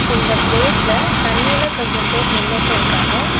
இந்த பிளேஸ்ல தண்ணில கொஞ்சம் பேர் நின்னுட்டு இருக்காங்க.